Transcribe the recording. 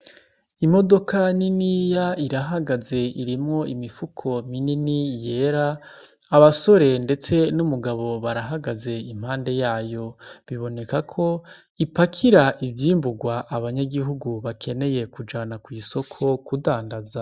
Imodoka niniya irahagaze irimwo imifuko minini yera. Abasore ndetse n'umugabo barahagaze impande yayo, biboneka ko ipakira ivyimburwa abanyagihugu bakeneye kujana kw'isoko kudandaza.